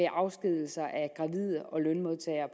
afskedigelser af gravide og lønmodtagere